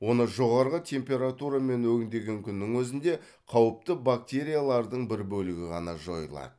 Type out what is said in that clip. оны жоғарғы температурамен өңдеген күннің өзінде қауіпті бактериялардың бір бөлігі ғана жойылады